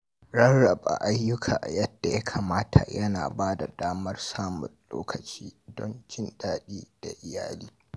Rarraba ayyuka yadda ya kamata yana ba da damar samun lokaci don jin daɗi da iyali.